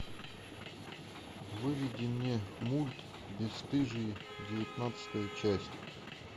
выведи мне мульт бесстыжие девятнадцатая часть